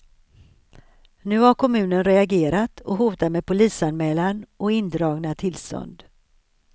Nu har kommunen reagerat och hotar med polisanmälan och indragna tillstånd.